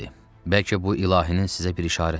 Bəlkə bu ilahinin sizə bir işarəsidir?